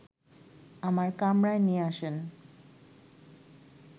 আমার কামরায় নিয়ে আসেন